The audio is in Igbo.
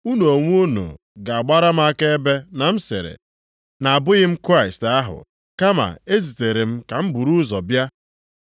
Unu onwe unu ga-agbara m akaebe na m sịrị, na abụghị m Kraịst ahụ, kama e zitere m ka m buru ụzọ bịa.